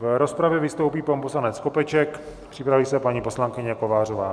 V rozpravě vystoupí pan poslanec Skopeček, připraví se paní poslankyně Kovářová.